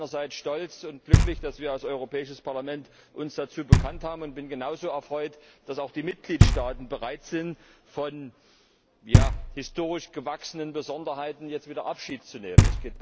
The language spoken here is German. Deshalb bin ich einerseits stolz und glücklich, dass wir als Europäisches Parlament uns dazu bekannt haben, und bin genauso erfreut, dass auch die Mitgliedstaaten bereit sind, von historisch gewachsenen Besonderheiten jetzt wieder Abschied zu nehmen.